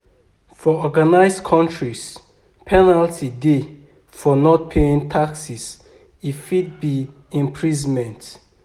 For organised countries, penalty dey for not paying taxes e fit be imprisonment